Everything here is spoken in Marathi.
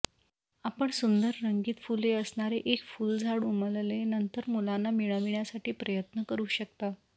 आपण सुंदर रंगीत फुले असणारे एक फुलझाड उमलले नंतर मुलांना मिळविण्यासाठी प्रयत्न करू शकता